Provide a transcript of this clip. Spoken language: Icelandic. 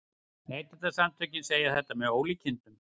Neytendasamtökin segja þetta með ólíkindum